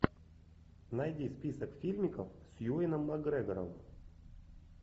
найди список фильмиков с юэном макгрегором